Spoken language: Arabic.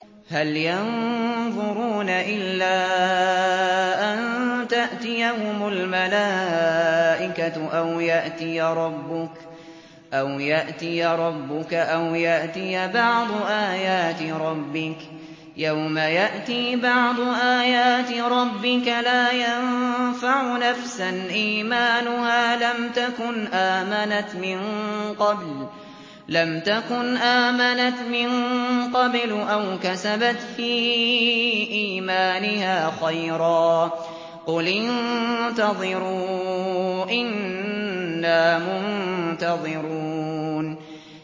هَلْ يَنظُرُونَ إِلَّا أَن تَأْتِيَهُمُ الْمَلَائِكَةُ أَوْ يَأْتِيَ رَبُّكَ أَوْ يَأْتِيَ بَعْضُ آيَاتِ رَبِّكَ ۗ يَوْمَ يَأْتِي بَعْضُ آيَاتِ رَبِّكَ لَا يَنفَعُ نَفْسًا إِيمَانُهَا لَمْ تَكُنْ آمَنَتْ مِن قَبْلُ أَوْ كَسَبَتْ فِي إِيمَانِهَا خَيْرًا ۗ قُلِ انتَظِرُوا إِنَّا مُنتَظِرُونَ